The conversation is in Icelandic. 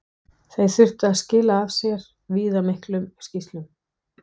Þeir þurftu að skila af sér viðamiklum skýrslum.